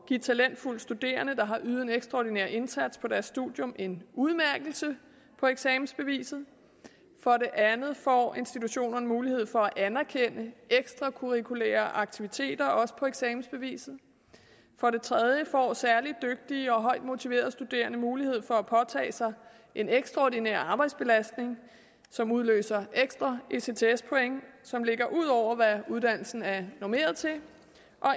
give talentfulde studerende der har ydet en ekstraordinær indsats på deres studie en udmærkelse på eksamensbeviset for det andet får institutionerne mulighed for at anerkende ekstracurriculære aktiviteter også på eksamensbeviset for det tredje får særligt dygtige og højt motiverede studerende mulighed for at påtage sig en ekstraordinær arbejdsbelastning som udløser ekstra ects point som ligger ud over hvad uddannelsen er normeret til